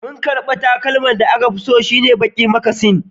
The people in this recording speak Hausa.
Markarfi takalman da aka fi so shine baki mucasin